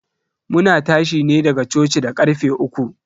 Muna tashi ne daga coci da karfe uku.